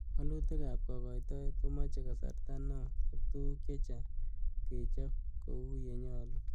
Woluutikab kaagoitoet komoche kasarta neo ak tuguk che chang kechob kou ye nyolu.